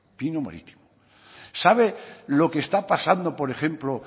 sabe lo que está pasando por ejemplo